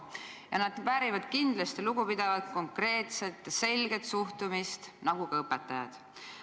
Ja nad väärivad kindlasti lugupidavat, konkreetset, selget sõnumit nagu ka õpetajad.